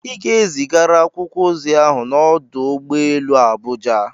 Ị ga-ezigara akwụkwọ ozi ahụ n'ọdụ ụgbọ elu Abuja!